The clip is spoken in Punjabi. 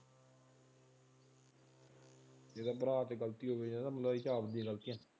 ਜੇ ਇਹਦੇ ਭਰਾ ਤੇ ਗਲਤੀ ਹੀ ਆ ਗਲਤੀ।